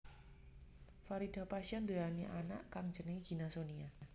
Farida pasha nduweni anak kang jenengé Gina Sonia